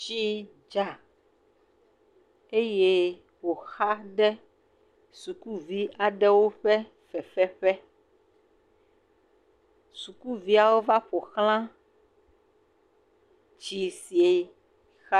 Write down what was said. Tsi dza eye wòxa ɖe sukuvi aɖewo ƒe fefe ƒe, sukuviawo va ƒoxla tsi si.